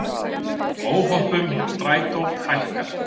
Óhöppum hjá Strætó fækkar